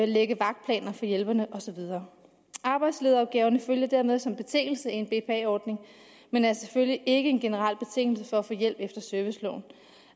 lægger vagtplaner for hjælperne og så videre arbejdslederopgaverne følger dermed som betingelse en bpa ordning men er selvfølgelig ikke en generel betingelse for at få hjælp efter serviceloven